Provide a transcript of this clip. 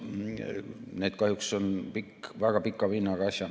Need on kahjuks väga pika vinnaga asjad.